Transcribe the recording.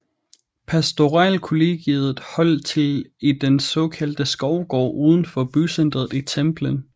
Pastoralkollegiet holdt til i den såkaldte Skovgård udenfor bycenteret i Templin